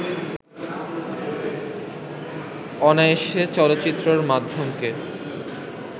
অনায়াসে চলচ্চিত্র মাধ্যমকে